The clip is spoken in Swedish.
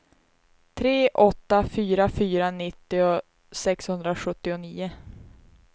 tre åtta fyra fyra nittio sexhundrasjuttionio